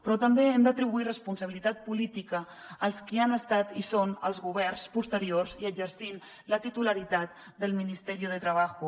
però també hem d’atribuir responsabilitat política als qui han estat i són els governs posteriors i exercint la titularitat del ministerio de trabajo